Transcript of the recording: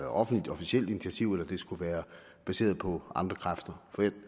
offentligt officielt initiativ eller det skulle være baseret på andre kræfter for jeg